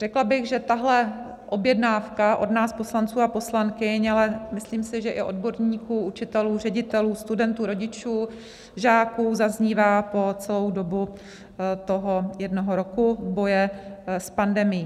Řekla bych, že tahle objednávka od nás poslanců a poslankyň, ale myslím si, že i odborníků, učitelů, ředitelů, studentů, rodičů, žáků, zaznívá po celou dobu toho jednoho roku boje s pandemií.